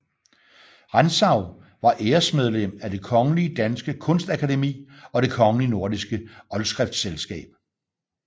Rantzau var æresmedlem af Det Kongelige Danske Kunstakademi og Det kongelige Nordiske Oldskriftselskab